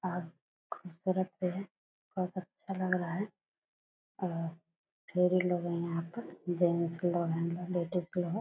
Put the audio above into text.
और खूबसूरत भी है। बहुत अच्छा लग रहा है और फेरी ले रहें हैं यहाँ पर जेंट्स लोग हैं लेडीज भी है।